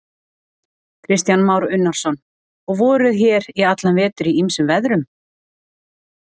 Kristján Már Unnarsson: Og voruð hér í allan vetur í ýmsum veðrum?